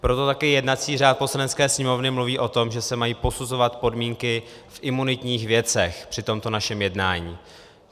Proto taky jednací řád Poslanecké sněmovny mluví o tom, že se mají posuzovat podmínky v imunitních věcech při tomto našem jednání.